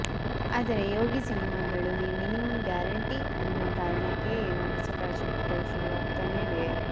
ಆದರೆ ಯೋಗಿ ಸಿನಿಮಾಗಳು minimum guarantee ಅನ್ನೋ ಕಾರಣಕ್ಕೋ ಏನೋ ಹೊಸ ಪ್ರಾಜೆಕ್ಟ್ ಗಳು ಶುರುವಾಗ್ತಾನೇ ಇವೆ